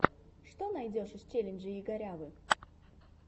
что найдешь из челленджей игорявы